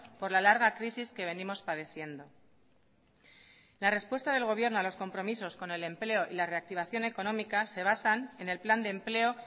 por la larga crisis que venimos padeciendo la respuesta del gobierno a los compromisos con el empleo y la reactivación económica se basan en el plan de empleo